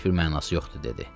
Heç bir mənası yoxdur dedi.